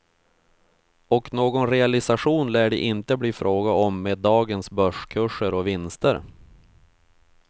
Och någon realisation lär det inte bli fråga om med dagens börskurser och vinster.